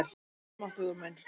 Almáttugur minn.